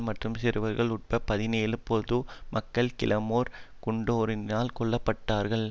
மற்றும் சிறுவர்கள் உட்பட பதினேழு பொது மக்கள் கிளேமோர் குண்டொன்றினால் கொல்ல பட்டார்கள்